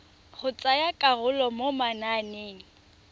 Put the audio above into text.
go tsaya karolo mo mananeng